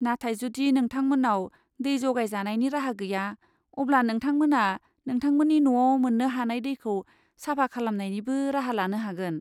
नाथाय जुदि नोंथांमोन्नाव दै जगायजानायनि राहा गैया, अब्ला नोंथामोना नोंथांमोन्नि न'आव मोन्नो हानाय दैखौ साफा खालामनायनिबो राहा लानो हागोन।